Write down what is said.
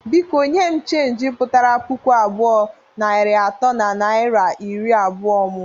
Biko nye m cheenji putara puku abụọ, narị atọ na naira iri abụọ mụ!